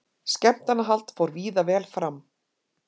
Skemmtanahald fór víða vel fram